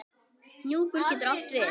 Hnjúkur getur átt við